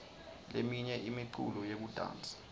leminye imiculo yekudansa